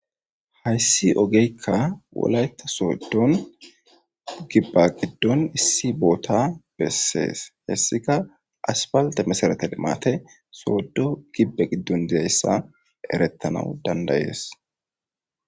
Haysi ogeka wolayta sodon giba gidon issi bota beses heysika asfalte meserete limate sodo gibe gidon diyaysa eretanawu danda'es.